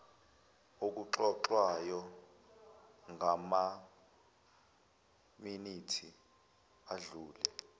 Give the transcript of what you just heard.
okuxoxwayo ngamaminithi adlule